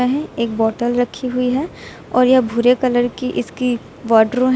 वह एक बाटल रखी हुई है और यह भूरे कलर की इसकी बाटलो है।